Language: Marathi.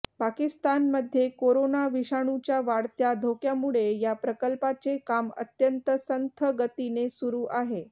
पाकिस्तानमध्ये कोरोना विषाणूच्या वाढत्या धोक्यामुळे या प्रकल्पाचे काम अत्यंत संथ गतीने सुरू आहे